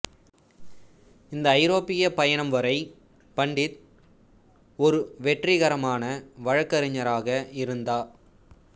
இந்த ஐரோப்பிய பயணம் வரை பண்டிட் ஒரு வெற்றிகரமான வழக்கறிஞராக இருந்தா